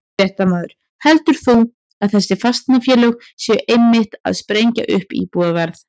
Fréttamaður: Heldur þú að þessi fasteignafélög séu einmitt að sprengja upp íbúðaverð?